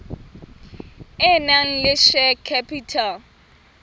e nang le share capital